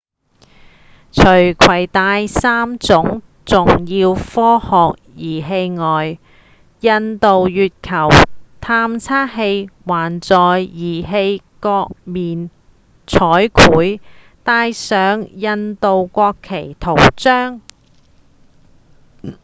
除攜帶三項重要科學儀器外印度月球探測器還在儀器各面彩繪帶上印度國旗圖像